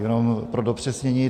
Jenom pro dopřesnění.